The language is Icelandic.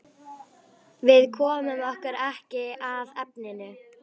Við komum okkur ekki að efninu.